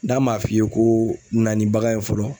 N'a m'a f'i ye ko na ni bagan ye fɔlɔ